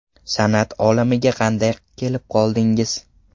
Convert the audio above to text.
San’at olamiga qanday kelib qoldingiz?